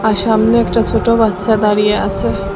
সামনে একটা ছোট বাচ্চা দাঁড়িয়ে আছে।